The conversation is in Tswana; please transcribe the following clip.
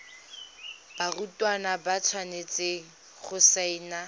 barutwana ba tshwanetse go saena